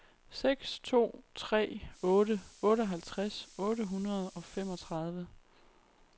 seks to tre otte otteoghalvtreds otte hundrede og femogtredive